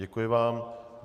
Děkuji vám.